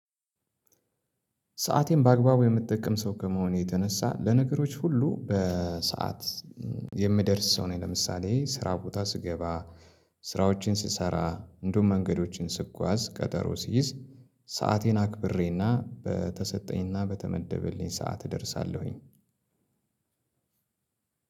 ሰአቴን በአግባቡ የምጠቀም ሰው ከመሆን የተነሳ ለነገሮች ሁሉ በሰአት የምደርስ ሰው ነኝ። ለምሳሌ ስራ ቦታ ስገባ ስራዎችን ስሰራ እንድሁም መንገዶችን ስጓዝ ቀጠሮ ሲይዝ ሰአቴን አክብሬና በተሰጠኝና በተመደበልኝ ሰዓት እደርሳለሁኝ።